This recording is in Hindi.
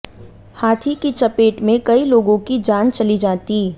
हाथी की चपेट में कई लोगों की जान चली जाती